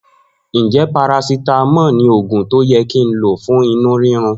Njẹ parasitamọ lo òògùn tó yẹ kí nlo fún inú rírun?